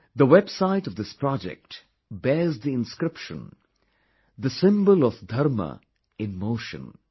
The website of this project bears the inscription 'the symbol of Dharma in motion'